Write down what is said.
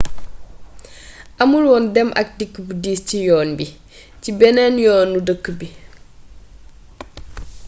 amulwoon dem ak dikk bu diis ci yoon bi ci benneen yoonu dëkk bi